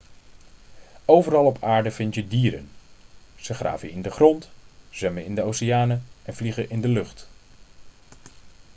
overal op aarde vind je dieren ze graven in de grond zwemmen in de oceanen en vliegen in de lucht